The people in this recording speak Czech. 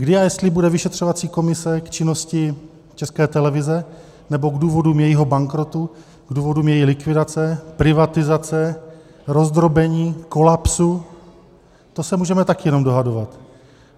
Kdy a jestli bude vyšetřovací komise k činnosti České televize nebo k důvodům jejího bankrotu, k důvodům její likvidace, privatizace, rozdrobení, kolapsu, to se můžeme také jen dohadovat.